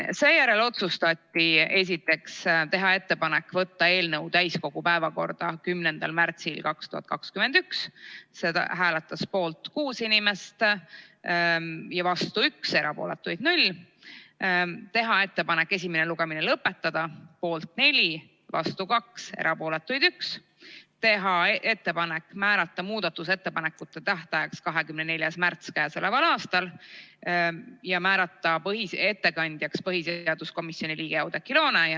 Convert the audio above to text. Seejärel otsustati teha ettepanek võtta eelnõu täiskogu päevakorda 10. märtsiks 2021 , teha ettepanek esimene lugemine lõpetada , teha ettepanek määrata muudatusettepanekute tähtajaks 24. märts k.a ja määrata ettekandjaks põhiseaduskomisjoni liige Oudekki Loone.